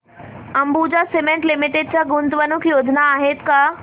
Ambuja cement limited च्या गुंतवणूक योजना आहेत का